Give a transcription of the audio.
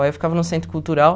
Aí eu ficava no centro cultural.